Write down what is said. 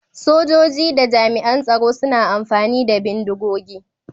Sojoji da jami'an tsaro suna amfani da bindigogi.